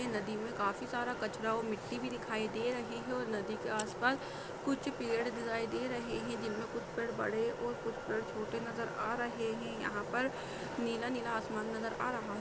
नदी में काफी सारी कचरा और मिट्टी भी दिखाई दे रही है और नदी के आस-पास कुछ पेड़ दिखाई दे रहे है जिन में कुछ पेड़ बड़े और कुछ पेड़ छोटे नजर आ रहे है यहाँ पर नीला-नीला आसमान नजर आ रहा है।